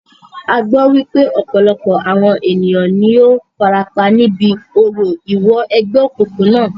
A gbọ́ wípé ọ̀pọ̀lọpọ̀ àwọn ènìyàn ní o farapa níbi orò ìwọ ẹgbẹ́ òkùnkùn náà.